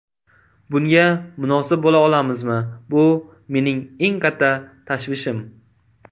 Bunga munosib bo‘la olamizmi bu mening eng katta tashvishim.